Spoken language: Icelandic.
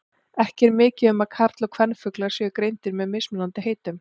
Ekki er mikið um að karl- og kvenfuglar séu greindir að með mismunandi heitum.